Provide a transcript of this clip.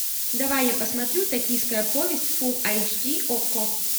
давай я посмотрю токийская повесть фул айч ди окко